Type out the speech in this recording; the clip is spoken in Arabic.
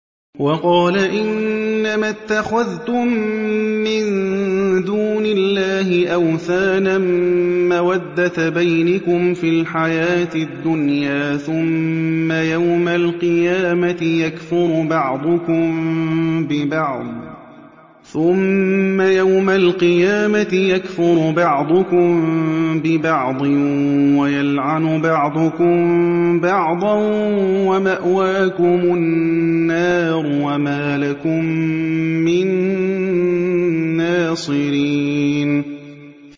وَقَالَ إِنَّمَا اتَّخَذْتُم مِّن دُونِ اللَّهِ أَوْثَانًا مَّوَدَّةَ بَيْنِكُمْ فِي الْحَيَاةِ الدُّنْيَا ۖ ثُمَّ يَوْمَ الْقِيَامَةِ يَكْفُرُ بَعْضُكُم بِبَعْضٍ وَيَلْعَنُ بَعْضُكُم بَعْضًا وَمَأْوَاكُمُ النَّارُ وَمَا لَكُم مِّن نَّاصِرِينَ